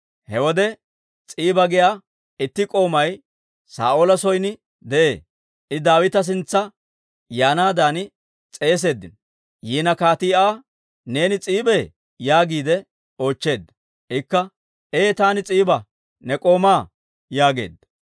He wode S'iiba giyaa itti k'oomay Saa'oola son de'ee; I Daawita sintsa yaanaadan s'eeseeddino; yiina kaatii Aa, «Neeni S'iibee?» yaagiide oochcheedda. Ikka, «Ee taani S'iiba, ne k'oomaa» yaageedda.